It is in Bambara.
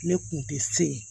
Ne kun tɛ se